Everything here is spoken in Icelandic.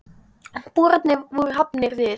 Boranir voru hafnar við